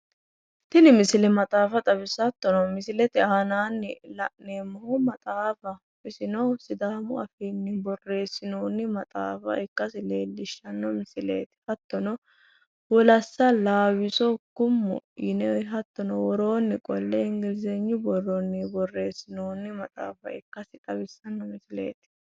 Tini misile maxaafa xawissawo hattono misilete aanaanni la'neemmohu maxaafaho isino sidaamu afiinni borreessinoonni maxaafa ikkasi leellishshanno misileeti hattono wolassa laawisso kummo yine hattono woroonni qolle ingilzenyu borronni borreessinoonni maxaafa misile ikasi xawissanno misileeti.